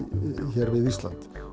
hér við Ísland